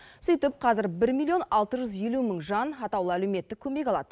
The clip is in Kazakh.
сөйтіп қазір бір миллион алты жүз елу мың жан атаулы әлеуметтік көмек алады